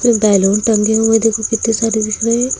balloon टंगे हुए देखो कितने सारे दिख रहे--